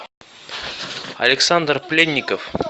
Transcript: александр пленников